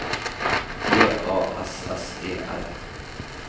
G A S S E R